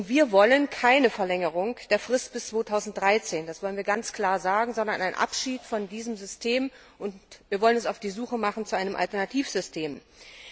Wir wollen keine Verlängerung der Frist bis 2013, das wollen wir ganz klar sagen, sondern einen Abschied von diesem System, und wir wollen uns auf die Suche nach einem Alternativsystem machen.